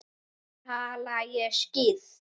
Tala ég skýrt?